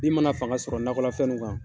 Bin mana fanga sɔrɔ nakɔla fɛn nuu kan